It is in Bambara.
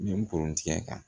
Min purtɛ kan